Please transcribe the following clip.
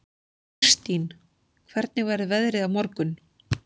Kirstín, hvernig verður veðrið á morgun?